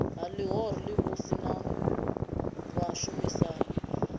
ha ḽihoro ḽivhusi na vhashumisani